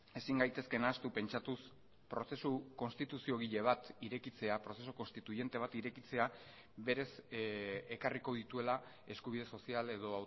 ezin gaitezke nahastu pentsatuz prozesu konstituziogile bat irekitzea prozesu konstituiente bat irekitzea berez ekarriko dituela eskubide sozial edo